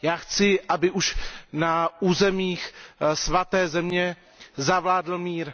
Chci, aby už na územích Svaté země zavládl mír.